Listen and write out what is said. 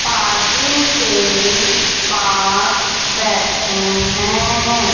Parking के पास बैठे हैं।